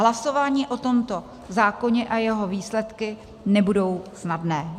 Hlasování o tomto zákoně a jeho výsledky nebudou snadné.